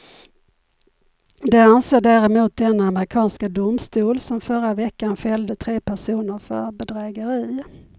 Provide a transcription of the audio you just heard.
Det anser däremot den amerikanska domstol som förra veckan fällde tre personer för bedrägeri.